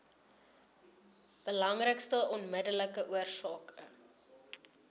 belangrikste onmiddellike oorsake